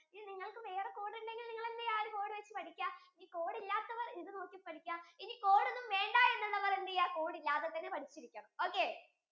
നിങ്ങൾക്കു വേറെ ഒരു code ഉണ്ടെങ്കിൽ നിങ്ങൾ എന്തുചയ്യാ ആ ഒരു code വെച്ചു പഠിക്കാം ഈ code ഇല്ലാത്തവർ ഇത് നോക്കി പഠിക്കാം ഇനി code ഒന്നും വേണ്ട എന്നുള്ളവർ എന്തെയാ code ഇല്ലാതെതന്നെ പഠിച്ചിരിക്കണം